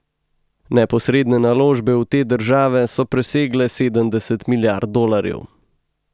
Neposredne naložbe v te države so presegle sedemdeset milijard dolarjev.